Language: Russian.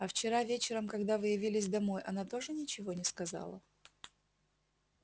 а вчера вечером когда вы явились домой она тоже ничего не сказала